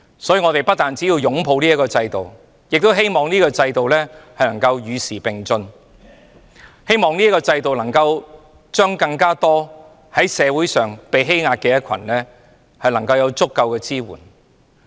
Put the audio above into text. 所以，我們不單要擁抱法援制度，亦希望法援制度能夠與時並進，希望法援制度能向更多在社會上被欺壓的人提供足夠支援。